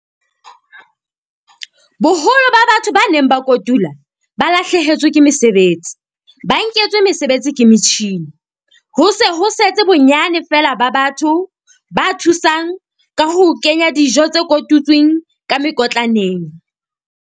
Boholo ba batho ba neng ba kotula ba lahlehetswe ke mesebetsi, ba nketswe mesebetsi ke metjhini. Ho se ho setse bonyane fela ba batho ba thusang ka ho kenya dijo tse kotutsweng ka mekotlaneng.